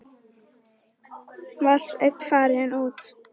Var Sveinn farinn út?